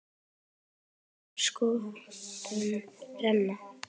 En enginn má sköpum renna.